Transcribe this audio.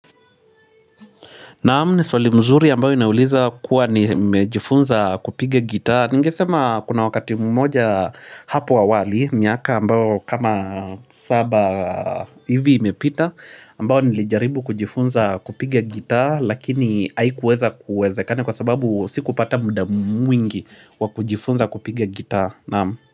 Naam, ni swali mzuri ambayo inauliza kuwa nimejifunza kupiga gitaa. Ningesema kuna wakati mmoja hapo awali, miaka ambayo kama saba hivi imepita, ambayo nilijaribu kujifunza kupiga gitaa, lakini haikuweza kuwezekana kwa sababu sikupata muda mwingi wa kujifunza kupiga gitaa naam.